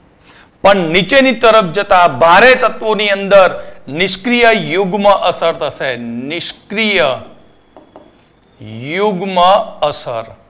પણ નીચેની તરફ જતાં ભારે તત્વો ની અંદર નિષ્ક્રિય યુગ્મ અસર થસે નિષ્ક્રિય યુગ્મ અસર